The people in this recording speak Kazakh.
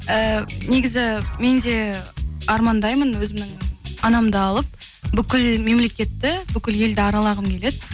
і негізі мен де армандаймын өзімнің анамды алып бүкіл мемлекетті бүкіл елді аралағым келеді